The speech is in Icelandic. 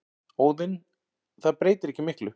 Óðinn: Það breytir ekki miklu.